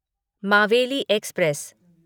Maveli express